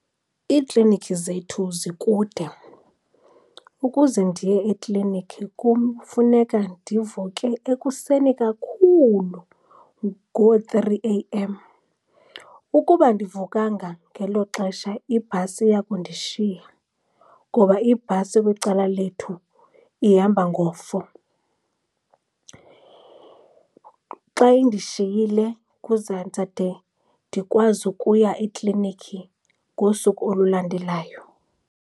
Iiklinikhi zethu zikude. Ukuze ndiye eklinikhi kum kufuneka ndivuke ekuseni kakhulu ngoo-three A_M. Ukuba andivukanga ngelo xesha ibhasi iya kundishiya, ngoba ibhasi kwicala lethu ihamba ngo-four. Xa indishiyile ndizade ndikwazi ukuya eklinikhi ngosuku olulandelayo.